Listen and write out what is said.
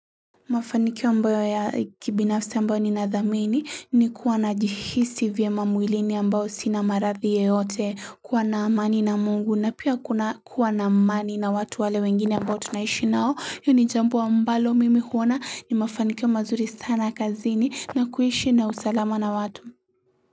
Mafanikio ambayo ya kibinafsi ambayo ni nadhamini ni kuwa na jihisi vyemamwilini ambao sinamarathi yeyote kuwa na amani na Mungu na pia kuna kuwa na amani na watu wale wengine ambao tunaishi nao hii ni jambo ambalo mimi huona ni mafanikio mazuri sana kazini na kuishi na usalama na watu.